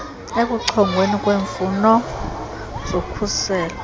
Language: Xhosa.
ekuchongweni kweemfuno zokhuselo